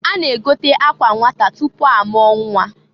A na-egote akwa nnwata tupu amụọ nnwa.